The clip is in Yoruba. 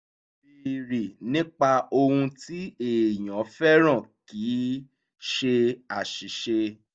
béèrè nípa ohun tí èèyàn fẹ́ràn kì í ṣe aṣìṣe